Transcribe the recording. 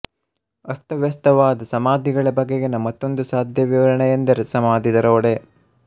ಅಸ್ತವ್ಯಸ್ತವಾದ ಸಮಾಧಿಗಳ ಬಗೆಗಿನ ಮತ್ತೊಂದು ಸಾಧ್ಯ ವಿವರಣೆಯೆಂದರೆ ಸಮಾಧಿ ದರೋಡೆ